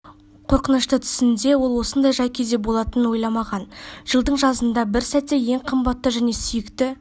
қорқынышты түсінде ол осындай жай-күйде болатынын ойламаған жылдың жазында бір сәтте ең қымбатты және сүйікті